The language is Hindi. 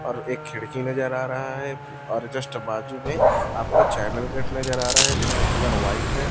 और एक खिड़की नज़र आ रहा है और जस्ट बाजू में आपका चैनल गेट नज़र आ रहा है जिसका कलर व्हाइट है।